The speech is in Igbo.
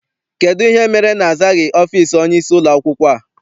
Kedụ ihe mere na-azaghị ọfịịsi onyeisi ụlọakwụkwọ a?